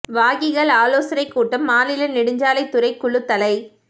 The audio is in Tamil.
வாகிகள் ஆலோசனை கூட்டம் மாநில நெடுஞ்சாலை துறை குழு தலை